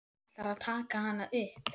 Hann ætlar að taka hana upp.